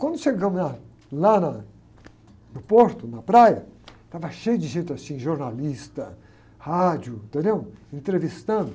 Quando chegamos na, lá na, no porto, na praia, estava cheio de gente assim, jornalista, rádio, entendeu? Entrevistando.